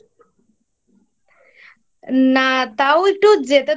না তাও একটু যেতে তো